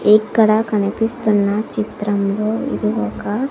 ఇక్కడ కనిపిస్తున్న చిత్రంలో ఇది ఒక--